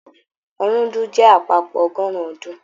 Ọ̀rúndún jẹ àpapọ ọgọrun ọdún.